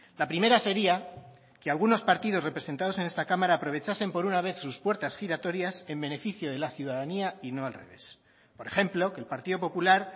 la primera sería que algunos partidos representados en esta cámara aprovechasen por una vez sus puertas giratorias en beneficio de la ciudadanía y no al revés por ejemplo que el partido popular